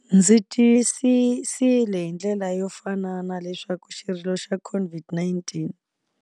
Ndzi tiyisisile hi ndlela yo fanana leswaku xirilo xa COVID-19.